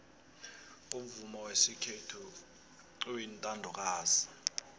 umvumo wesikhethu uyintandokazi